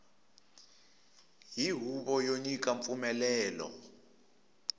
hi huvo yo nyika mpfumelelo